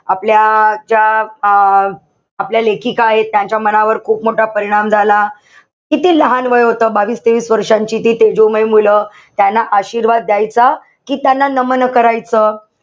आपल्या ज्या अं आपल्या लेखिका आहेत. त्यांच्या मनावर खूप मोठा परिणाम झाला. किती लहान वय होत, बावीस-तेवीस वर्षांची ती तेजोमय मुलं. त्यांना आशीर्वाद द्यायचा कि त्यांना नमन करायचं?